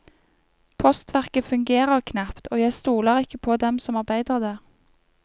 Postverket fungerer knapt, og jeg stoler ikke på dem som arbeider der.